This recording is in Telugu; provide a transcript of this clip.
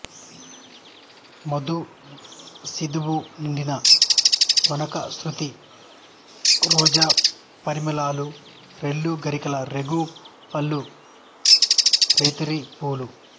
మధు శీధువు నిండిన వనకస్తురి రోజా పరిమళాలు రెల్లు గరికల రేగు పళ్ళ రేతిరి పూల